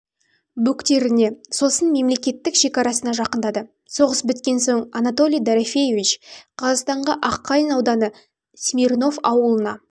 бөктеріне сосын мемлекеттік шекарасына жақындады соғыс біткен соң анатолий дорофеевич қазақстанға аққайын ауданы смирнов ауылына